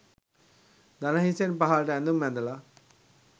දනහිසෙන් පහලට ඇඳුම් ඇඳල